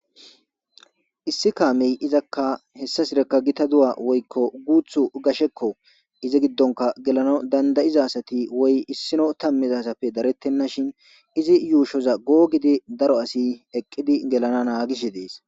Issi kaamey izakka hessa sirekka gita duwa woykko guuthu gashekko izi giddonka gelano dandayizasati woy issino tammizasappe darettenna shin izi yuushoza googidi daro asi eqqidi gelana naagisi dees